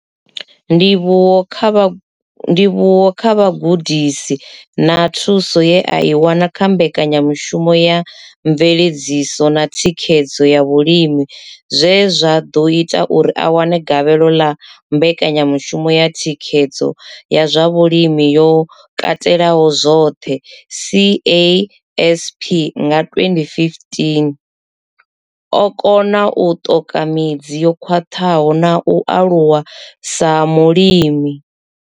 Ndivhuwo kha vhugudisi na thuso ye a i wana kha mbekanyamushumo ya mveledziso na thikhedzo ya vhalimi zwe zwa ḓo ita uri a wane gavhelo ḽa mbekanyamushumo ya thikhedzo ya zwa vhulimi yo katelaho zwoṱhe, CASP, nga 2015, o kona u ṱoka midzi yo khwaṱhaho na u aluwa sa mulimi.